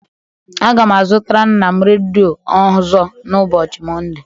Aga m azụtara nna m redo ọzọ na ụbọchị Mọnde.